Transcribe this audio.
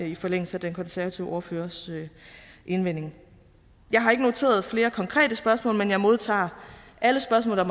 i forlængelse af den konservative ordførers indvending jeg har ikke noteret flere konkrete spørgsmål men jeg modtager alle spørgsmål der